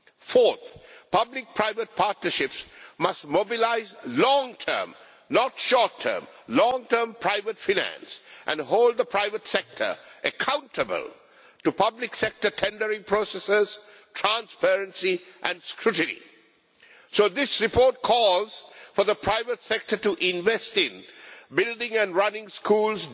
Fourthly, public private partnerships must mobilise long term not short term private finance and hold the private sector accountable to public sector tendering processes, transparency and scrutiny. So this report calls for the private sector to invest in building and running schools